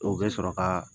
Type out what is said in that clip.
O bɛ sɔrɔ ka